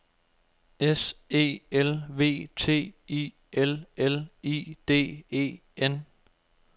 S E L V T I L L I D E N